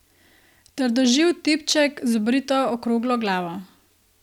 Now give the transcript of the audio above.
Trdoživ tipček z obrito okroglo glavo.